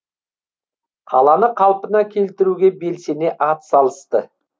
қаланы қалпына келтіруге белсене атсалысты